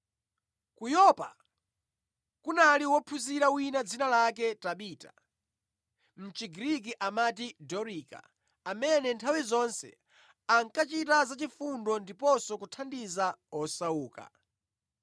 Ku Yopa kunali wophunzira wina dzina lake Tabita (mʼChigriki amati Dorika) amene nthawi zonse ankachita zachifundo ndiponso kuthandiza osauka.